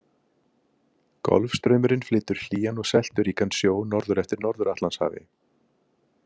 Golfstraumurinn flytur hlýjan og selturíkan sjó norður eftir Norður-Atlantshafi.